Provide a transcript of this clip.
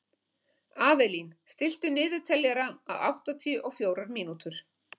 Avelín, stilltu niðurteljara á áttatíu og fjórar mínútur.